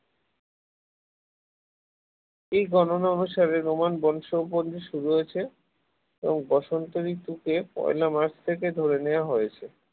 এই এই গণনা অনুসারে এবং বসন্ত ঋতুকে পয়লা মার্চ থেকে ধরে নেওয়া হয়েছে